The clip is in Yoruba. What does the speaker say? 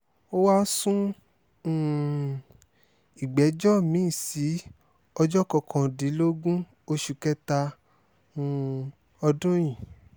ó wáá sun um ìgbẹ́jọ́ mi-ín sí ọjọ́ kọkàndínlógún oṣù kẹta um ọdún yìí